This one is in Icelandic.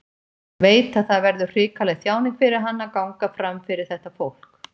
Veit að það verður hrikaleg þjáning fyrir hann að ganga fram fyrir þetta fólk.